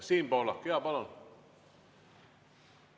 Siim Pohlak, jaa, palun!